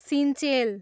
Sinchel